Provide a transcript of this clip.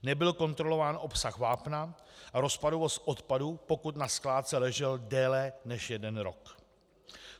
Nebyl kontrolován obsah vápna a rozpadovost odpadu, pokud na skládce ležel déle než jeden rok.